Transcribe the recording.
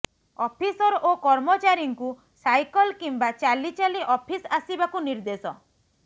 officer ଓ କର୍ମଚାରୀଙ୍କୁ cycle କିମ୍ବା ଚାଲିଚାଲି ଅଫିସ୍ ଆସିବାକୁ ନିର୍ଦ୍ଦେଶ